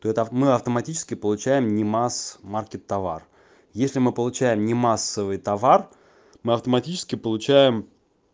то это мы автоматически получаем не масс-маркет товар если мы получаем не массовый товар мы автоматически получаем